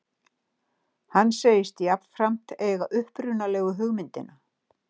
Hann segist jafnframt eiga upprunalegu hugmyndina